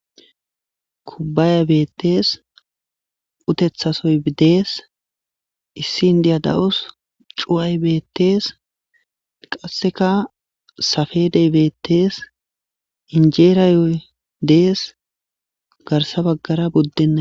kubbaya bettees utethasoy dees issi n diya da7us cu7ay bettees qasseka safe debetees injeeraayoy dees garsa baggara buddenna